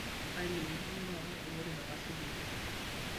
ailepieki duo taata olorika kashipa oleng